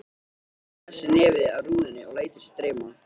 Hann klessir nefið að rúðunni og lætur sig dreyma.